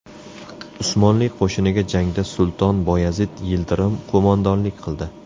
Usmonli qo‘shiniga jangda Sulton Boyazid Yildirim qo‘mondonlik qildi.